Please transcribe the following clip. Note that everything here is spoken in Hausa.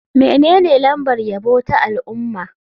Menene lambar yabo ta al'umma?